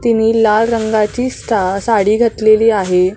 तिने लाल रंगाची सा साडी घातलेली आहे.